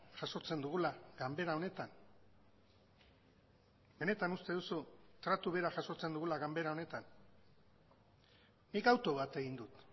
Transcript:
jasotzen dugula ganbera honetan benetan uste duzu tratu bera jasotzen dugula ganbera honetan nik autu bat egin dut